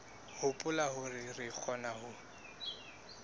hopola hore re kgona ho